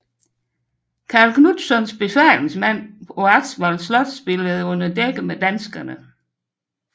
Som Karl Knutssons befalingsmand på Axevalls Slot spillede han under dække med danskerne